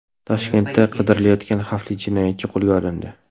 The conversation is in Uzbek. Toshkentda qidirilayotgan xavfli jinoyatchi qo‘lga olindi.